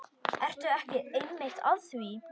Ertu ekki einmitt að því?